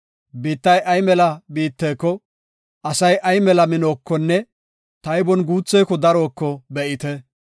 Biittay ay mela biittako, asay ay mela minookonne taybon guutheko daroko be7ite.